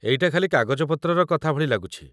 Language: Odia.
ଏଇଟା ଖାଲି କାଗଜପତ୍ରର କଥା ଭଳି ଲାଗୁଛି ।